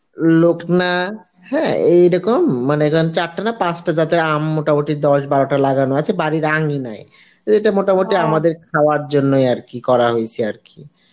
লকনা হ্যাঁ এই রকম মানে ছাড়তে না পাঁচটা জাতের আম মোটা মুটি দস বারোটা লাগানো আছে বাড়ির আঙিনায়, ইটা মত মুটি আমাদের খাওয়ার জন্যই আর কি করা হয়েসে আরকি